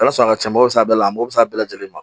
a ka cɛn a bɛ se ka bɛɛ la a mago bɛ se a bɛɛ lajɛlen ma